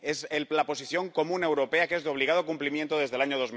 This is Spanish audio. Es la Posición común europea, que es de obligado cumplimiento desde el año